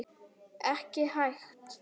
Ekki hægt.